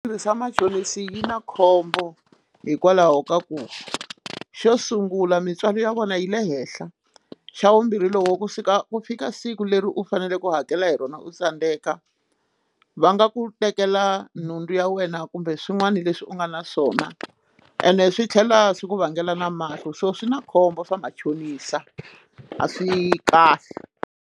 Tirhisa vamachonisi yi na khombo hikwalaho ka ku xo sungula mintswalo ya vona yi le henhla xa vumbirhi loko kusuka ku fika siku leri u faneleke u hakela hi rona u tsandeka va nga ku tekela nhundzu ya wena kumbe swin'wana leswi u nga na swona ene swi tlhela swi ku vangela na mahlo so swi na khombo swa machonisa a swi kahle.